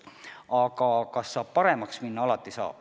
Aga kas saab paremaks minna?